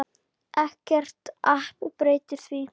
Ekkert app breytir því.